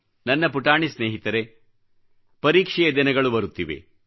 ನನ್ನ ಪುಟಾಣಿ ಸ್ನೇಹಿತರೇಪರೀಕ್ಷೆಯ ದಿನಗಳು ಬರುತ್ತಿವೆ